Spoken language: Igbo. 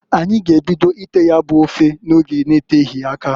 Anyi g'ebido ite ya bu ofe n'oge n'eteghi aka.